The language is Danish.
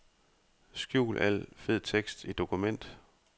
Skjul al fed tekst i dokument.